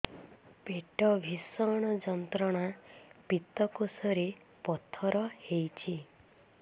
ପେଟ ଭୀଷଣ ଯନ୍ତ୍ରଣା ପିତକୋଷ ରେ ପଥର ହେଇଚି